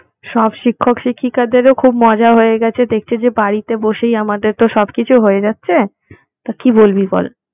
সব শিক্ষক শিক্ষিকাদেরও খুব মজা হয়ে গেছে দেখছি যে বাড়িতে বসেই আমাদের তো সবকিছু হয়ে যাচ্ছে, তা কি বলবি বল?